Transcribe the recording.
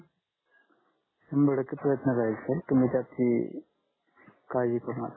शंभर टक्के प्रयत्न राहील सर तुमी त्याची काडजि करू नका